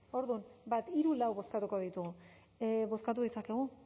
orduan bat hiru lau bozkatuko ditugu bozkatu ditzakegu